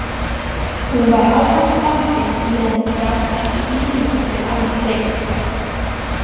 Hún var á hans bandi meðan hún gat ekki ímyndað sér annan betri.